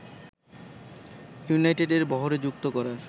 ইউনাইটেডের বহরে যুক্ত করার